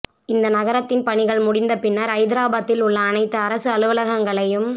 இந்த நகரத்தின் பணிகள் முடிந்தபின்னர் ஐதராபாத்தில் உள்ள அனைத்து அரசு அலுவலகங்களையும்